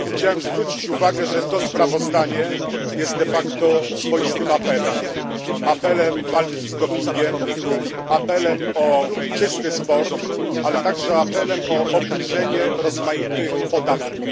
Pani Przewodnicząca! Chciałem zwrócić uwagę, że to sprawozdanie jest de facto swoistym apelem apelem o walkę z dopingiem, apelem o czysty sport, ale także apelem o obniżenie rozmaitych podatków.